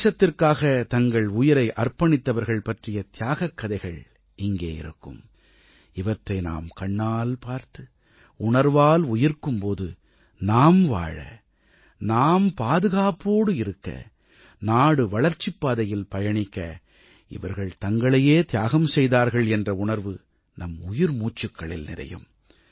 தேசத்திற்காக தங்கள் உயிரை அர்ப்பணித்தவர்கள் பற்றிய தியாகக் கதைகள் இங்கே இருக்கும் இவற்றை நாம் கண்ணால் பார்த்து உணர்வால் உயிர்க்கும் போது நாம் வாழ நாம் பாதுகாப்போடு இருக்க நாடு வளர்ச்சிப் பாதையில் பயணிக்க இவர்கள் தங்களையே தியாகம் செய்தார்கள் என்ற உணர்வு நம் உயிர் மூச்சுக்களில் நிறையும்